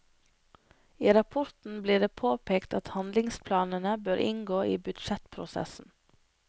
I rapporten blir det påpekt at handlingsplanene bør inngå i budsjettprosessen.